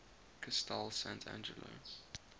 castel sant angelo